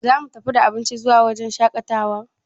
Za mu tafi da abinci zuwa wajen shaƙatawar?